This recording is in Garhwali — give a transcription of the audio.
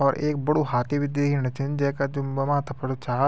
और ऐक बडू हाती बि दिखेणि छिन जे का माथा फर छा ।